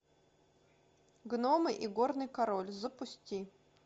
гномы и горный король запусти